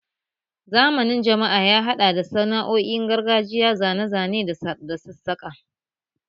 Zamanin jama'a ya haɗa da sana'o'in gargajiya, zane-zane da sassaƙa